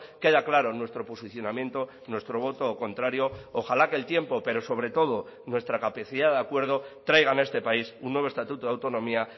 queda claro nuestro posicionamiento nuestro voto contrario ojala que el tiempo pero sobre todo nuestra capacidad de acuerdo traigan a este país un nuevo estatuto de autonomía